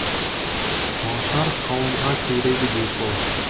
тоғышар қауымға керегі де сол